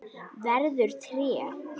Verður tré.